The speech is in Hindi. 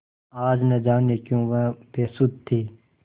आज न जाने क्यों वह बेसुध थी